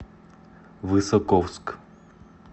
высоковск